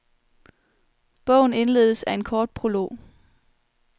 Bogen indledes af en kort prolog.